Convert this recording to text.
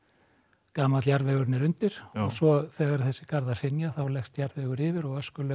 gamall jarðvegurinn er undir svo þegar þessir garðar hrynja þá leggst jarðvegurinn yfir og öskulög